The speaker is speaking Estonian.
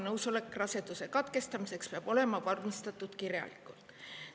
Nõusolek raseduse katkestamiseks peab olema vormistatud kirjalikult.